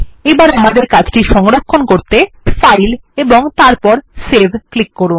এবার আমাদের কাজটি সংরক্ষণ করতে ফাইল এবং তারপর সেভ ক্লিক করুন